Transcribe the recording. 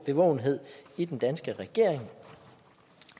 bevågenhed i den danske regering